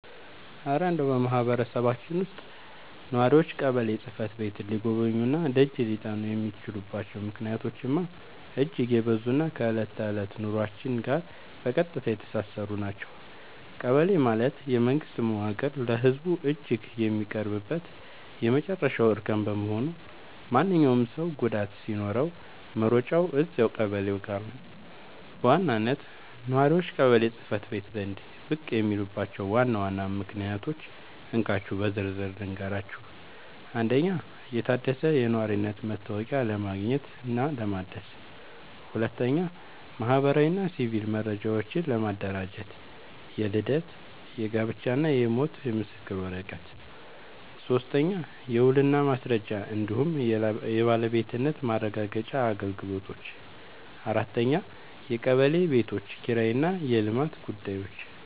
እረ እንደው በማህበረሰባችን ውስጥ ነዋሪዎች ቀበሌ ጽሕፈት ቤትን ሊጎበኙና ደጅ ሊጠኑ የሚችሉባቸው ምክንያቶችማ እጅግ የበዙና ከዕለት ተዕለት ኑሯችን ጋር በቀጥታ የተሳሰሩ ናቸው! ቀበሌ ማለት የመንግስት መዋቅር ለህዝቡ እጅግ የሚቀርብበት የመጨረሻው እርከን በመሆኑ፣ ማንኛውም ሰው ጉዳይ ሲኖረው መሮጫው እዚያው ቀበሌው ጋ ነው። በዋናነት ነዋሪዎች ቀበሌ ጽ/ቤት ዘንድ ብቅ የሚሉባቸውን ዋና ዋና ምክንያቶች እንካችሁ በዝርዝር ልንገራችሁ፦ 1. የታደሰ የነዋሪነት መታወቂያ ለማግኘትና ለማደስ 2. ማህበራዊና ሲቪል መረጃዎችን ለማደራጀት (የልደት፣ የጋብቻና የሞት ምስክር ወረቀት) 3. የውልና ማስረጃ እንዲሁም የባለቤትነት ማረጋገጫ አገልግሎቶች 4. የቀበሌ ቤቶች ኪራይና የልማት ጉዳዮች